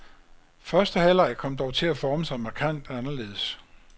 Første halvleg kom dog til at forme sig markant anderledes.